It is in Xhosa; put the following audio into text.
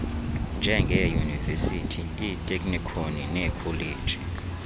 njengeeyunivesithi iiteknikhoni neekholeji